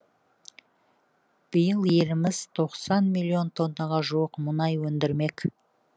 биыл еліміз тоқсан миллион тоннаға жуық мұнай өндірмек